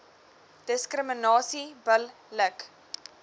diskriminasie bil lik